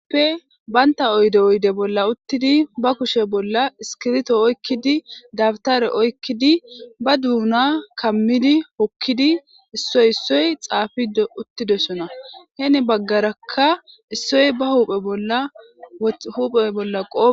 banita oyidde bolla bolla uttidi baa kushshe bolla iskibirito oyikkidi dabitare oyikiddi baa duna kamiddi hokiddi isoyi isoyi xaafidee uttidosonna.heni bagaraka isoyi baa huphphe bolla qopee